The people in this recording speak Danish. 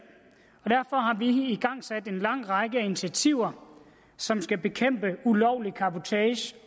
igangsat en lang række initiativer som skal bekæmpe ulovlig cabotage